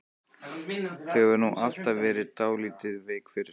Þú hefur nú alltaf verið dálítið veik fyrir